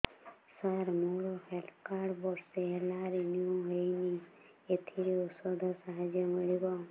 ସାର ମୋର health card ବର୍ଷେ ହେଲା ରିନିଓ ହେଇନି ଏଥିରେ ଔଷଧ ସାହାଯ୍ୟ ମିଳିବ